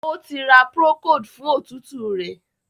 O tí ra Procold fún òtútù rẹ.